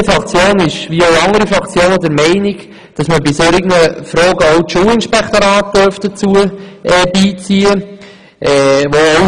Wie andere Fraktionen ist die BDP-Fraktion der Meinung, dass man bei solchen Fragen auch das Schulinspektorat beiziehen dürfte.